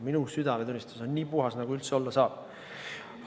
Minu südametunnistus on nii puhas, nagu üldse olla saab.